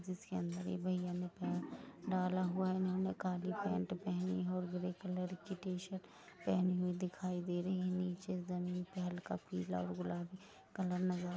--जिस के अंदर यह भैया ने अपना पैर डाला हुआ है काली पैंट पहनी और ग्रे कलर की टी शर्ट पहनी हुई दिखाई दी रही है नीचे ज़मीन पे हल्का पीला और गुलाबी कलर नजर--